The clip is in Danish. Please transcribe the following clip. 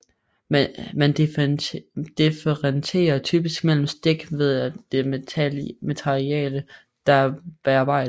Man differentierer typisk mellem stik ved det materiale der bearbejdes